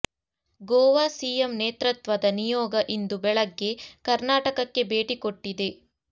Goa CM ನೇತೃತ್ವದ ನಿಯೋಗ ಇಂದು ಬೆಳಗ್ಗೆ ಕರ್ನಾಟಕಕ್ಕೆ ಭೇಟಿ ಕೊಟ್ಟಿದೆ